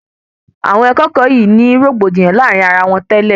Àwọn akẹẹkọ wọnyii ní rògbòdìyàn láàrin ara wọn tẹ́lẹ̀